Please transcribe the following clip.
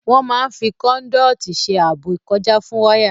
Wọ́n máa n fi kòndọ́tọ̀ ṣe ààbò ìkọjá fún wáyà